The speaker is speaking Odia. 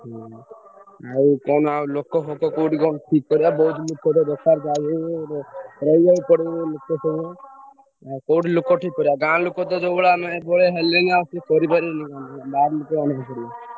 ହୁଁ ଆଉ କଣ ଆଉ ଲୋକ ଫୋକ କୋଉଠି କଣ ଠିକ୍ କର ବୋହୁତ ଲୋକ ଦରକାର ଯାହାବି ହେଲେ କୋଉଠି ଲୋକ ଠିକ୍ କରିବ ଗାଁ ଲୋକ ତ ଯୋଉ ଭଳିଆ ହେଲେଣି ।